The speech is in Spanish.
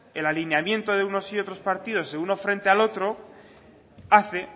el alineamiento de unos y otros partidos de uno frente al otro hace